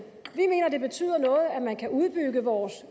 vi betyder noget at man kan udbygge vores